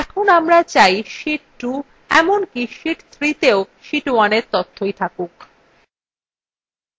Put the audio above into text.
এখন আমরা চাই sheet 2 এমনকি sheet 3তেও sheet 2 তথ্যই দেখাক